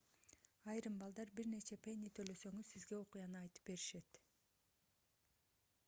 айрым балдар бир нече пенни төлөсөңүз сизге окуяны айтып беришет